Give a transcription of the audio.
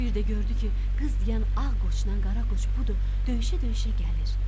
Bir də gördü ki, qız deyən ağ qoçdan qara qoç budur, döyüşə-döyüşə gəlir.